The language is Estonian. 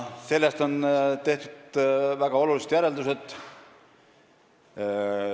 Sellest on tehtud väga olulised järeldused.